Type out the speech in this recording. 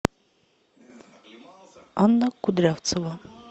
анна кудрявцева